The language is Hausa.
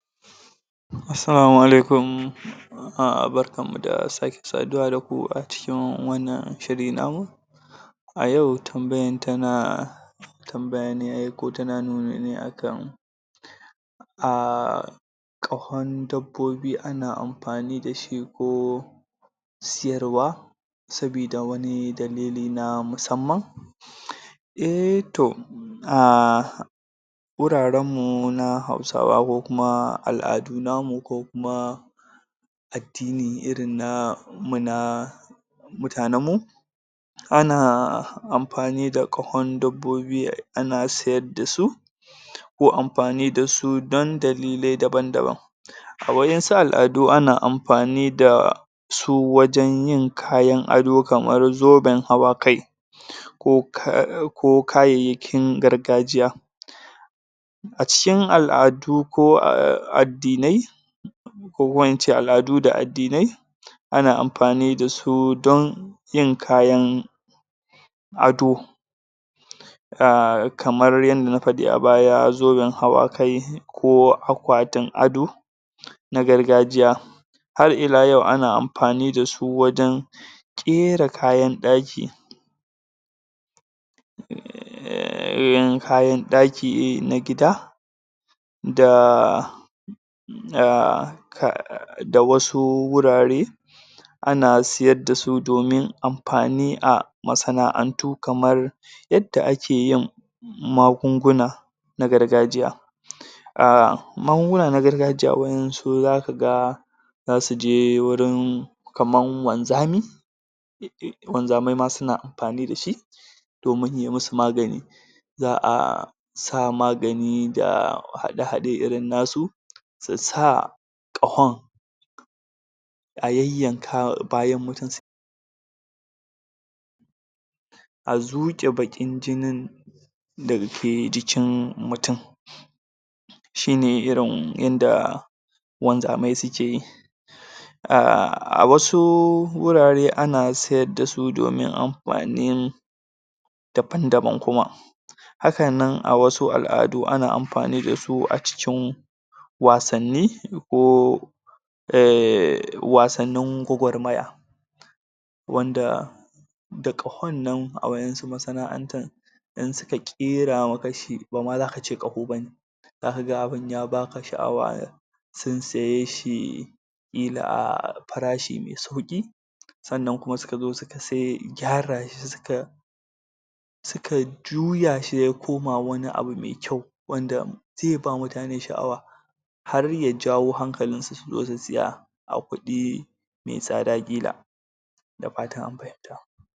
Assalama alaikum um. Barkan mu da sake saduwa da ku a cikin wannan shiri namu. A yau tambayan tana tambaya ne ko tana nuni ne akan um ƙahon dabbobi ana amfani dashi ko siyarwa sabida wani dalili na musamman. Eh, to um wuraren mu na hausawa ko kuma al'adu namu ko kuma addini irin namu na mutanen mu ana amfani da ƙahon dabbobi ana sayarda su ko amfani dasu don dalilai daban-daban. A waensu al'adu ana amfani da su wajen yin kayan ado kamar zoben hawa kai ko ko kayyayakin gargajiya. A cikin al'adu ko addinai ko kuma ince al'adu da addinai ana amfani dasu don yin kayan ado, kamar yadda na fadi a baya zoben hawa kai ko akwatin ado na gargajiya. Har ilayau ana amfani dasu wajen ƙera kayan daki, er kayan daki na gida da ahh da wasu wurare ana siyar dasu domin amfani a masana'antu kamar yadda ake yin magunguna na gargajiya, uh magunguna na gargajiya waeansu za ka ga za su je wurin kaman wanzami, wanzamai ma suna amfani da shi domin ya yi masu magani, za a sa magani da hade-hade irin nasu, su sa ƙawon a yayanka bayan mutum a zuƙe bakin jinin dake jikin mutum, shine irin yadda wanzamai suke yi. A wasu wurarin ana sayarda su domin amfanin amfani daban-daban kuma. Hakan nan a wasu al'adu ana amfani dasu a cikin wasanni ko er wasannin gwagwarmaya, wanda da ƙahon nan a wasu masana'antun in suka ƙera maka shi bama za ka ce ƙaho bane, za ka ga abun ya ba ka sha'awa ah sun saye shi ƙila a parashi mai sauki, sannan kuma suka zo suka sai gyara shi suka suka juya shi ya ya koma wani abu mai kyau wanda zai ba mutane sha'awa harya jawo hankalinsu su zo su saya a kudi mai tsada ƙila. Da fatan an fahimta.